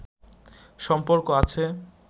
সম্পর্ক আছে